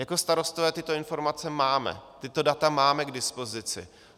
Jako starostové tyto informace máme, tato data máme k dispozici.